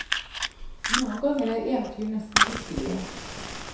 Noen ganger er eventyr nesten virkelige.